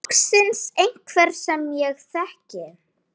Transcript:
Loksins einhver sem ég þekki.